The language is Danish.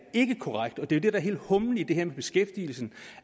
jo det der er hele humlen i det her med beskæftigelsen